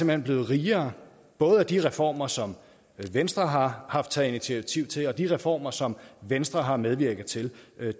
hen blevet rigere både af de reformer som venstre har haft taget initiativ til og de reformer som venstre har medvirket til